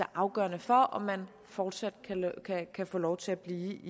afgørende for om man fortsat kan få lov til at blive i